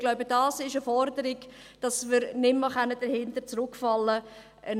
Ich glaube, dies ist eine Forderung: dass wir nicht mehr dahinter zurückfallen können.